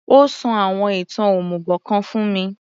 Ó sọ àwọn ìtàn òmùgò kan fún mi